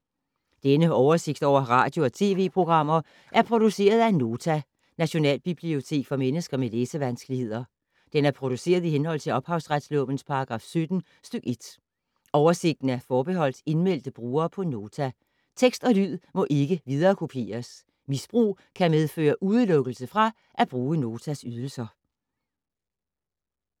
Denne oversigt over radio og TV-programmer er produceret af Nota, Nationalbibliotek for mennesker med læsevanskeligheder. Den er produceret i henhold til ophavsretslovens paragraf 17 stk. 1. Oversigten er forbeholdt indmeldte brugere på Nota. Tekst og lyd må ikke viderekopieres. Misbrug kan medføre udelukkelse fra at bruge Notas ydelser.